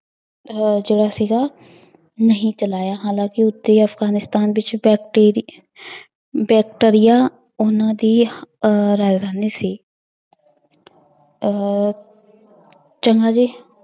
ਅਹ ਜਿਹੜਾ ਸੀਗਾ ਨਹੀਂ ਚਲਾਇਆ ਹਾਲਾਂਕਿ ਉੱਤਰੀ ਅਫਗਾਨਿਸਤਾਨ ਵਿੱਚ ਵੈਕਟੀਰੀ ਵੈਕਟਰੀਆ ਉਹਨਾਂ ਦੀ ਅਹ ਰਾਜਧਾਨੀ ਸੀ ਅਹ ਚੰਗਾ ਜੀ।